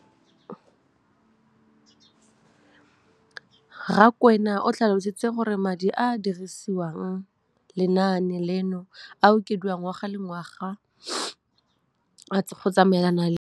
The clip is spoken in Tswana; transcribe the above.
Rakwena o tlhalositse gore madi a a dirisediwang lenaane leno a okediwa ngwaga yo mongwe le yo mongwe go tsamaelana le